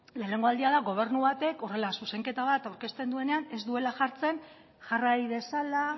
lehenengo aldia da gobernu batek horrela zuzenketa bat aurkezten duenean ez duela jartzen jarrai dezala